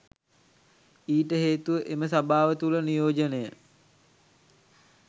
ඊට හේතුව එම සභාව තුළ නියෝජනය